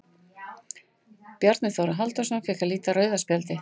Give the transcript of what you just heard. Bjarni Þórður Halldórsson fékk að líta rauða spjaldið.